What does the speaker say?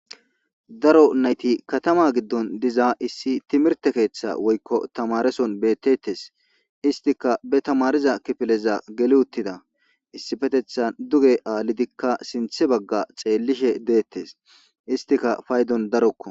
Daro nayti katama giddon diza issi timihirte keththa woykko tamaareson beetetes isttikka be tamaariza kifileza geli uuttida issipetetan dugge alidinne sinththe bagga xellishe deetes istikka payddon darokko.